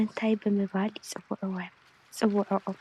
እንታይ ብምባል ይፅውዕወን ይፅውዕኦም።